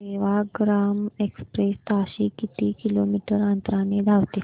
Sevagram express ताशी किती kilometre अंतराने धावते